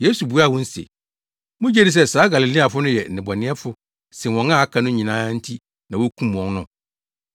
Yesu buaa wɔn se, “Mugye di sɛ saa Galileafo no yɛ nnebɔneyɛfo sen wɔn a aka no nyinaa nti na wokum wɔn no?